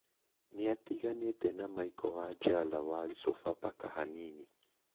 Nĩatiganĩte na Michael wanjala wa Sofa paka hanini